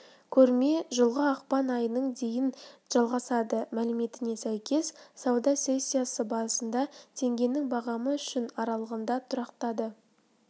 көрме жылғы ақпан айының дейін жалғасады мәліметіне сәйкес сауда сессиясы барысында теңгенің бағамы үшін аралығында тұрақтады